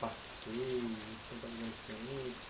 Passeios, vocês vão para lugares diferentes?